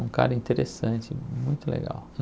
Um cara interessante, muito legal.